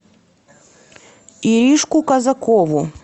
иришку казакову